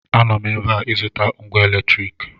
Anọ m ebe a ịzụta ngwa eletriki